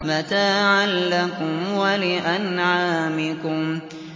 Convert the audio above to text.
مَتَاعًا لَّكُمْ وَلِأَنْعَامِكُمْ